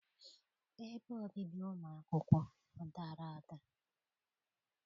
Ebe obibi ụmụ akwụkwọ ọ dara ada?